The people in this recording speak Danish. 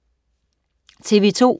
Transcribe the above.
TV2: